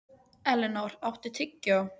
Elinór, áttu tyggjó?